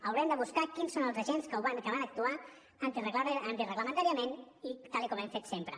haurem de buscar quins són els agents que van actuar antireglamentàriament tal com hem fet sempre